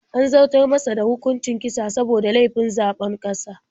An zartar masa da hukuncin kisa saboda laifin zabon ƙasa.